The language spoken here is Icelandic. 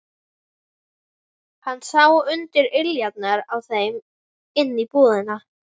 Hann sá undir iljarnar á þeim inn í íbúðina.